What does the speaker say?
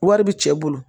Wari bi cɛ bolo